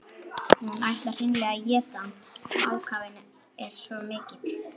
Hún ætlar hreinlega að éta hann, ákafinn er svo mikill.